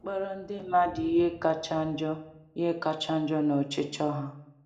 ịkpọrọ ndị mmadụ ihe kacha njọ ihe kacha njọ na ọchịchọ ha.